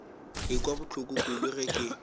ekwa bohloko kudu ge ke